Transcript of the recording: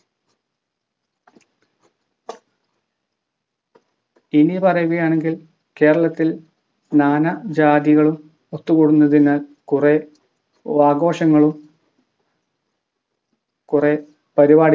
ഇനിപറയുകയാണെങ്കിൽ കേരളത്തിൽ നാനാ ജാതികളും ഒത്തുകൂടുന്നതിനാൽ കുറെ അകോശങ്ങളും കുറെ പരിപാടികളും